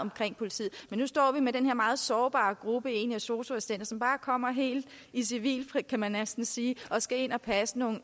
om politiet men nu står vi med den her meget sårbare gruppe af sosu assistenter som bare kommer helt i civil kan man næsten sige og skal ind og passe nogle